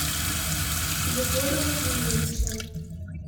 егора владимировича